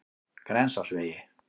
Grensásvegi